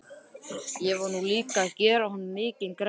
Ég var nú líka að gera honum mikinn greiða.